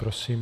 Prosím.